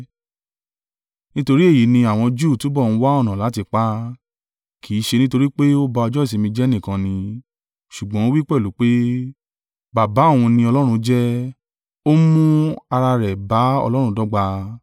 Nítorí èyí ni àwọn Júù túbọ̀ ń wá ọ̀nà láti pa á, kì í ṣe nítorí pé ó ba ọjọ́ ìsinmi jẹ́ nìkan ni, ṣùgbọ́n ó wí pẹ̀lú pé, Baba òun ni Ọlọ́run jẹ́, ó ń mú ara rẹ̀ bá Ọlọ́run dọ́gba.